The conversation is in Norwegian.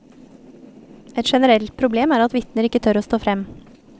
Et generelt problem er at vitner ikke tør å stå frem.